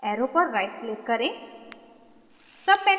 arrow पर right click करें